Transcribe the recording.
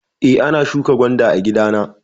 Eh, na shuƙa gwanda a gida na.